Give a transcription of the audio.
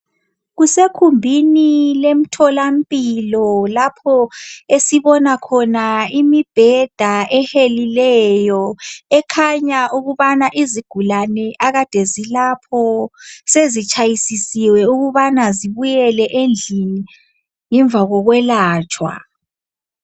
Kusekhumbini lemtholampilo lapho esibona khona imibheda ehelileyo ekhanya ukubana izigulani akade zilapho sezitshayisisiwe ukubana zibuyele endlini ngemva kokwelatshwa.